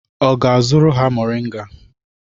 Ọ ga-azụrụ ha moringa?